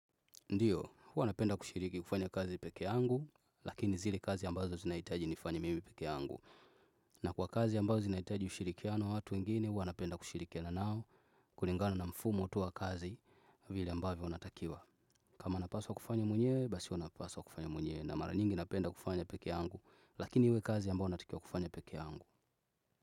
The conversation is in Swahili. Ndiyo, huwa napenda kushiriki kufanya kazi peke angu, lakini zile kazi ambazo zinaitaji nifanya mimi peke angu. Na kwa kazi ambazo zinaitaji ushirikiano watu ingine, huwa napenda kushirikiana nao, kulingano na mfumo tu wakazi, vile ambavyo unatakiwa. Kama napaswa kufanya mwenye, basi wanapaswa kufanya mwenye, na mara nyingi napenda kufanya peke angu, lakini iwe kazi ambazo natikia kufanya peke angu.